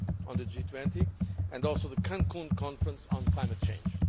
of the G20 and also the Cancún conference on climate change.